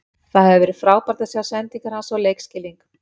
Það hefur verið frábært að sjá sendingar hans og leikskilning.